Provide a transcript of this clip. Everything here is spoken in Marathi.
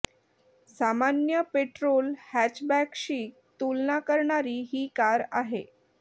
सामान्य पेट्रोल हॅचबॅकशी तुलना करणारी ही कार आहे